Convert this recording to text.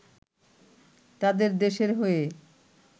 তাদের দেশের হয়ে